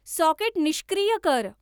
socket निष्क्रिय कर